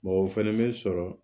o fɛnɛ bɛ sɔrɔ